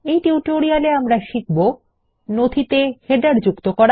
এই টিউটোরিয়াল এ আমাদের শিখব160 নথিতে শিরোলেখ যুক্ত করা